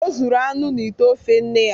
O zuru anụ n’ite ofe nne ya.